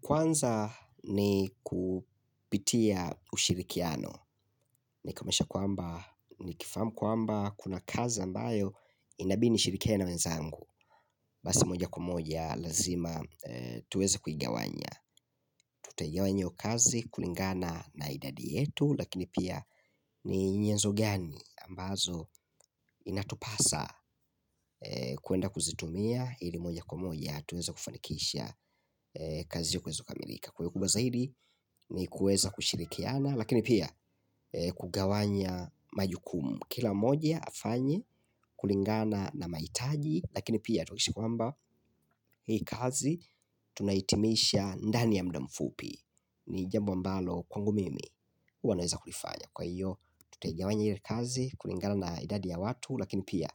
Kwanza ni kupitia ushirikiano. Ni kuonyesha kwamba ni kifahamu kwamba kuna kazi ambayo inabidi nishirikiane na wenzangu. Basi moja kwa moja lazima tuweze kuigawanya tutaigawa hio kazi kulingana na idadi yetu lakini pia ni nyanzo gani ambazo inatupasa kwenda kuzitumia ili moja kwa moja tuweze kufanikisha kazi iweze kukamilika. Kwa hio kubwa zaidi ni kuweza kushirikiana. Lakini pia kugawanya majukumu. Kila moja afanye kulingana na mahitaji. Lakini pia tuishi kwamba hii kazi tunahitimisha ndani ya muda mfupi. Ni jambo ambalo kwangu mimi huwa naweza kulifanya kulingana na idadi ya watu lakini pia